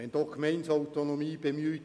Es wird nun die Gemeindeautonomie bemüht.